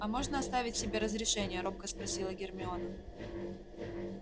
а можно оставить себе разрешение робко спросила гермиона